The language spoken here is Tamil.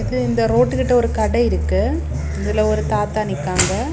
இது இந்த ரோட்டு கிட்ட ஒரு கட இருக்கு இதுல ஒரு தாத்தா நிக்காங்க.